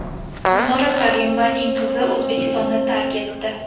Gulnora Karimovaning qizi O‘zbekistonni tark etdi.